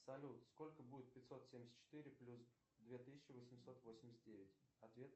салют сколько будет пятьсот семьдесят четыре плюс две тысячи восемьсот восемьдесят девять ответ